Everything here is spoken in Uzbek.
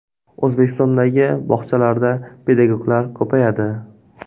O‘zbekistondagi bog‘chalarda pedagoglar ko‘payadi.